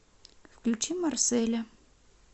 включи марселя